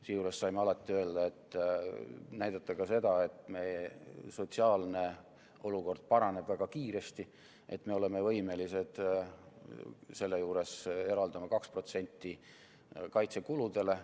Seejuures saime alati näidata ka seda, et meie sotsiaalne olukord paraneb väga kiiresti ja me oleme võimelised selle juures eraldama 2% kaitsekuludele.